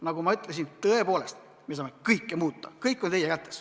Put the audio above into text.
Nagu ma ütlesin, tõepoolest, me saame kõike muuta, kõik on meie kätes.